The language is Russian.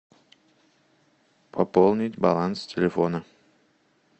пополнить баланс телефона